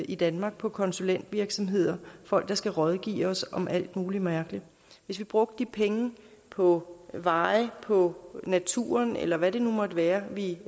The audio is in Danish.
i danmark på konsulentvirksomheder folk der skal rådgive os om alt muligt mærkeligt hvis vi brugte de penge på veje på naturen eller hvad det nu måtte være vi